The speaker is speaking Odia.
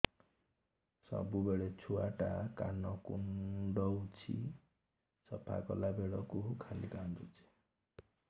ସବୁବେଳେ ଛୁଆ ଟା କାନ କୁଣ୍ଡଉଚି ସଫା କଲା ବେଳକୁ ଖାଲି କାନ୍ଦୁଚି